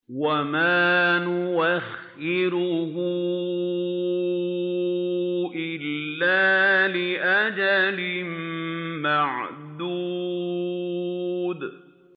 وَمَا نُؤَخِّرُهُ إِلَّا لِأَجَلٍ مَّعْدُودٍ